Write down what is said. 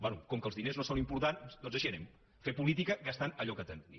bé com que els diners no són importants doncs així anem fer política gastant allò que tenim